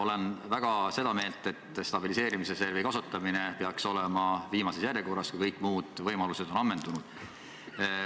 Olen väga seda meelt, et stabiliseerimisreservi kasutamine peaks toimuma viimases järjekorras, kui kõik muud võimalused on ammendunud.